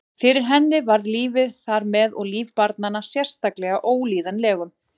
Fyrir henni varð lífið þar með og líf barna sérstaklega að Ólíðanlegum